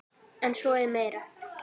En svo er meira.